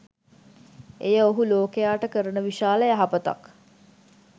එය ඔහු ලෝකයාට කරන විශාල යහපතක්